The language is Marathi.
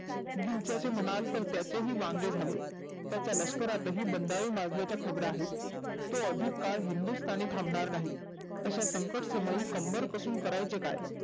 गिलक्याचे म्हणाल तर त्याचे ही वांगे झाले. त्याच्या लष्करात बंदारे माजण्याच्या खबरा आहेत. तो अधिक काळ हिंदुस्थानी थांबनार नाही. अशा संकट समयी कंबर कसून करायचं काय?